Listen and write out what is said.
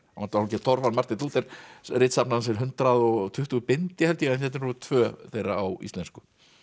var hálfgert torf hann Marteinn Lúther ritsafn hans er hundrað og tuttugu bindi held ég en hérna eru tvö þeirra á íslensku